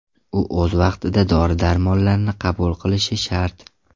U o‘z vaqtida dori-darmonlarni qabul qilish shart.